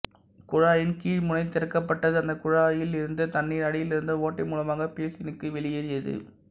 குழாயின் கீழ்முனை திறக்கப்பட்டது அந்தக் குழாயில் இருந்த தண்ணீர் அடியிலிருந்த ஓட்டை மூலமாக பேசினுக்கு வெளியேறியது